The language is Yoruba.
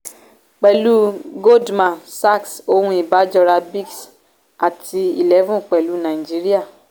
pẹ̀lú goldman sachs ohun ìbájora brics àti n-eleven pẹ̀lú naijiriya.